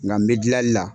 Nka n bɛ gilanli la